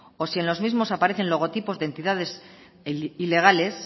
o si en los mismos aparecen logotipos de entidades ilegales